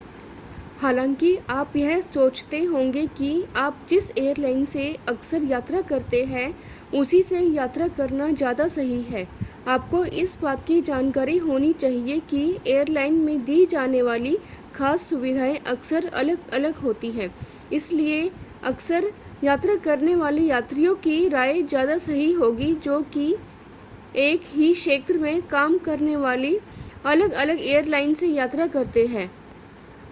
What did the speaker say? हालांकि आप यह सोचते होंगे कि आप जिस एयरलाइन से अक्सर यात्रा करते हैं उसी से यात्रा करना ज़्यादा सही है आपको इस बात की जानकारी होनी चाहिए कि एयरलाइन में दी जाने वाली खास सुविधाएं अक्सर अलग-अलग होती हैं इसलिए अक्सर यात्रा करने वाले यात्रियों की राय ज़्यादा सही होगी जो एक ही क्षेत्र में काम करने वाली अलग-अलग एयरलाइन से यात्रा करते हैं